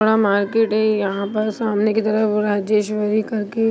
यहां मार्केट है यहा पर सामने के तरफ राजेश्वरी कर के--